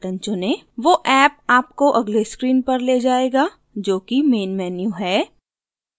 वो ऍप आपको अगले स्क्रीन पर ले जायेगा जोकि मेन मेन्यू है